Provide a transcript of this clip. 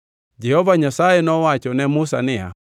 Jehova Nyasaye nowacho ne Musa niya,